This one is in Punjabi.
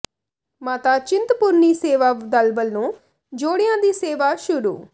ਮਾਤਾ ਚਿੰਤਪੁਰਨੀ ਸੇਵਾ ਦਲ ਵੱਲੋਂ ਜੋੜਿਆਂ ਦੀ ਸੇਵਾ ਸ਼ੁਰੂ